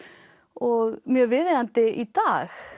og mjög viðeigandi í dag